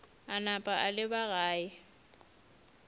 a napa a leba gae